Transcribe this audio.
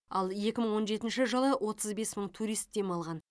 ал екі мың он жетінші жылы отыз бес мың турист демалған